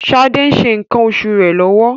Ṣadė ń ṣe nǹkan oṣù rẹ̀ lọ́wọ́.